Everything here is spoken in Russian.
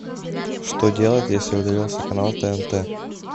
что делать если удалился канал тнт